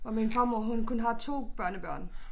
Hvor min farmor hun kun har 2 børnebørn